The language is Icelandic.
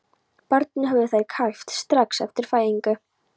Barnið höfðu þær kæft strax eftir fæðingu.